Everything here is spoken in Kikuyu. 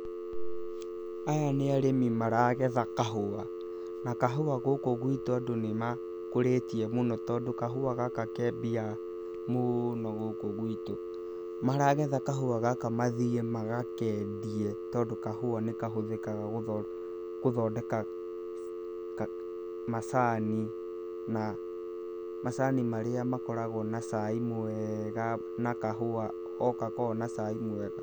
Aya nĩ arĩmi maragetha kahũa, na kahũa gũkũ gwitũ andũ nĩ makũrĩtie mũno tondũ kahũa gaka ke mbia mũno gũkũ gwitũ. Maragetha kahũa gaka mathiĩ magakendie, tondũ kahũa nĩ kahũthĩkaga gũthondeka macani na macani marĩa makoragwo na cai mwega na kahũa o gakoragwo na cai mwega.